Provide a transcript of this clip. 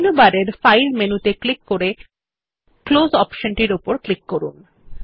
menu বারে file মেনুতে click করে ক্লোজ অপশনটি উপর ক্লিক করুন